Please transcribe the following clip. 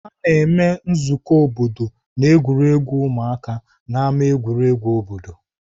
A na-eme nzukọ obodo na egwuregwu ụmụaka n'ámá egwuregwu obodo.